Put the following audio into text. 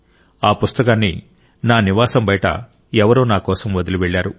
ఆ పుస్తకాన్ని నా నివాసం బయట ఎవరో నాకోసం వదిలివెళ్లారు